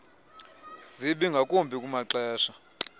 zibi ngakumbi kumaxesha